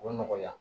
O bɛ nɔgɔya